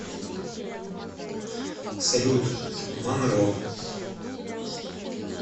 салют манро